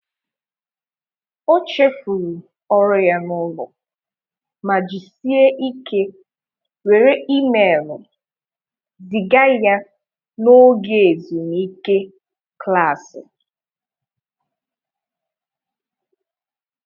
O chefuru ọrụ ya na ụlọ ma jisie ike were email ziga ya na oge ezumike klaasị